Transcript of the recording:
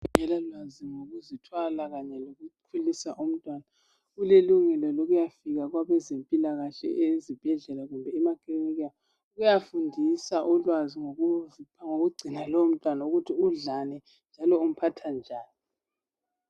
Ongela lwazi ngokuzithwala kanye lokukhuliswa umntwana ulelungelo lokuyafika kwabezempilakahke ezibhedlela kumbe emakilinika ukuyafundisa ulwazi ngokugcina lowo mtwana lokuthi udlani njalo umphatha njani.